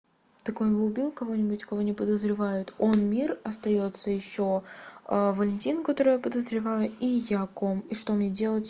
так он убил кого-нибудь кого не подозревают он мир остаётся ещё а валентин которого подозреваю и яковом и что мне делать